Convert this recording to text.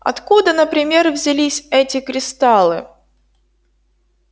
откуда например взялись эти кристаллы